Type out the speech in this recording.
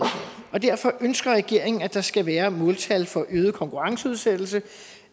og derfor ønsker regeringen at der skal være måltal for øget konkurrenceudsættelse